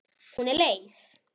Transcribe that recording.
Hún er leið.